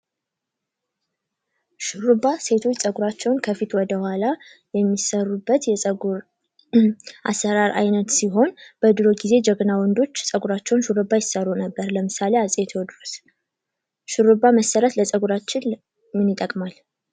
ሹሩባ ሴቶች ፀጉራቸውን ከፊት ወደ ሁላ የሚሰሩበት የፀጉር አሰራር አይነት ሲሆን በድሮ ጊዜ ጀግና ወንዶች ሹሩባ ይሰሩ ነበር:: ለምሳሌ አፄ ቴዎድሮስ ሹሩባ መሰራት ለፀጉራችን ምን ይጠቅማል?